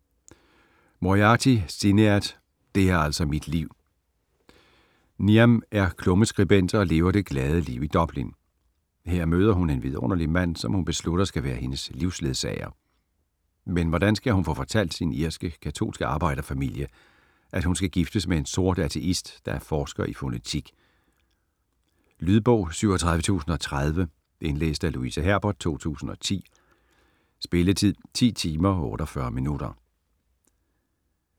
Moriarty, Sinéad: Det er altså mit liv Niamh er klummeskribent og lever det glade liv i Dublin. Her møder hun en vidunderlig mand, som hun beslutter skal være hendes livsledsager. Men hvordan skal hun få fortalt sin irske, katolske arbejder-familie, at hun skal giftes med en sort ateist, der er forsker i fonetik? Lydbog 37030 Indlæst af Louise Herbert, 2010. Spilletid: 10 timer, 48 minutter.